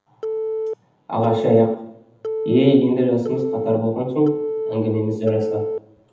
ағаш аяқ е енді жасымыз қатар болған соң әңгімеміз жарасады